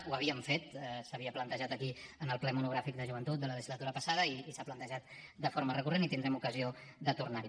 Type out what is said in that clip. ho havíem fet s’havia plantejat aquí en el ple monogràfic de joventut de la legislatura passada i s’ha plantejat de forma recurrent i tindrem ocasió de tornar hi